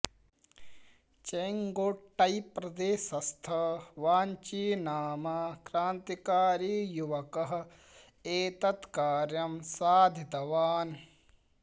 चेङ्गोट्टै प्रदेशस्थ वाञ्ची नाम क्रान्तिकारी युवकः एतत् कार्यं साधितवान्